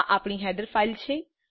આ આપણી header file છે